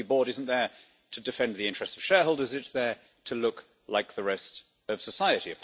A company board isn't there to defend the interests of shareholders it's there to look like the rest of society.